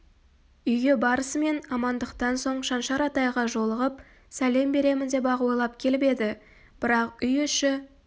үйге барысымен амандықтан соң шаншар атайға жолығып сәлем беремін деп-ақ ойлап келіп еді бірақ үй іші